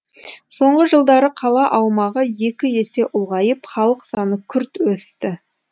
соңғы жылдары қала аумағы екі есе ұлғайып халық саны күрт өсті